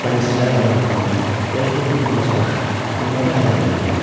Dənizçilərlə maraqlanır, dostluq qurmağa çalışır, onları əyləndirirdi.